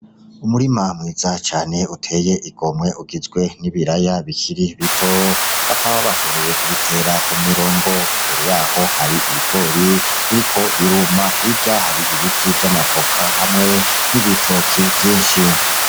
Umurima mwiza cane uteye igomwe ugizwe n'ibiraya bikiri bito, bakaba bashoboye kubitera ku mirongo, imbere yaho hari ibigori biriko biruma, hirya hari ibiti vy'amavoka hamwe n'ibitoki vyinshi.